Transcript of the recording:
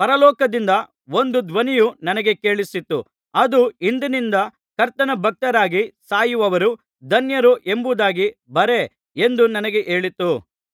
ಪರಲೋಕದಿಂದ ಒಂದು ಧ್ವನಿಯು ನನಗೆ ಕೇಳಿಸಿತು ಅದು ಇಂದಿನಿಂದ ಕರ್ತನ ಭಕ್ತರಾಗಿ ಸಾಯುವವರು ಧನ್ಯರು ಎಂಬುದಾಗಿ ಬರೆ ಎಂದು ನನಗೆ ಹೇಳಿತು